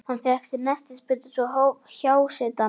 Hann fékk nestisbita og svo hófst hjásetan.